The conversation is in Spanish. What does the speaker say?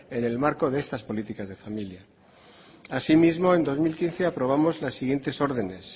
en el marco de estas políticas de familia asimismo en dos mil quince aprobamos las siguientes ordenes